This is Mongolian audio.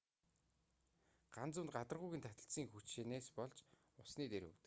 ган зүү нь гадаргуугийн таталцлын хүчнээс болж усны дээр хөвдөг